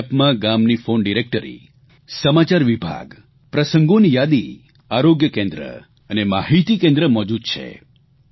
આ એપમાં ગામની ફોન ડીરેકટરી સમાચાર વિભાગ પ્રસંગોની યાદી આરોગ્ય કેન્દ્ર અને માહીતી કેન્દ્ર મોજૂદ છે